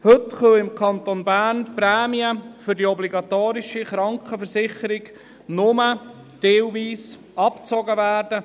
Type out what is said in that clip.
Heute können im Kanton Bern die Prämien für die obligatorische Krankenversicherung nur teilweise abgezogen werden.